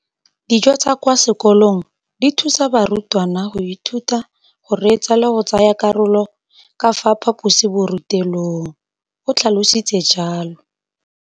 Dijo tsa kwa sekolong dithusa barutwana go ithuta, go reetsa le go tsaya karolo ka fa phaposiborutelong, o tlhalositse jalo.